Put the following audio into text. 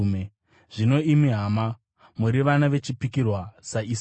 Zvino imi hama, muri vana vechipikirwa saIsaka.